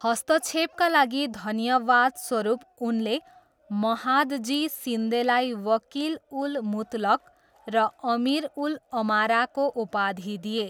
हस्तक्षेपका लागि धन्यवादस्वरूप, उनले महादजी सिन्देलाई वकिल उल मुतलक र अमिर उल अमाराको उपाधि दिए।